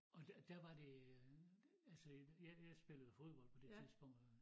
Og der der var det øh altså jeg jeg spillede fodbold på det tidspunkt